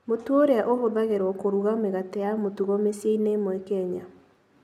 Mũtu ũrĩa ũhũthagĩrũo kũruga mĩgate ya mũtugo mĩciĩ-inĩ ĩmwe ya Kenya.